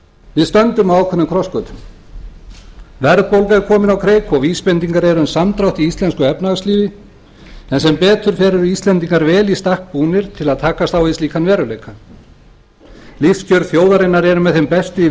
við stöndum á ákveðnum krossgötum verðbólga er komin á kreik og vísbendingar eru um samdrátt í íslensku efnahagslífi en sem betur fer eru íslendingar vel í stakk búnir til að takast á við slíkan veruleika lífskjör þjóðarinnar eru með þeim bestu í